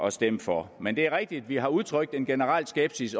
at stemme for men det er rigtigt at vi har udtrykt en generel skepsis